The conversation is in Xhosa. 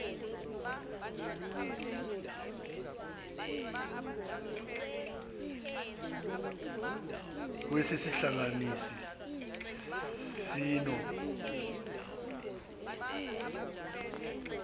kwesi sihlanganisi sino